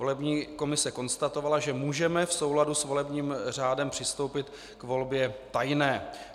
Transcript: Volební komise konstatovala, že můžeme v souladu s volebním řádem přistoupit k volbě tajné.